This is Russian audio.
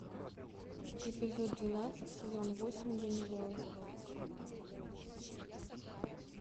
эпизод двенадцать сезон восемь ганнибал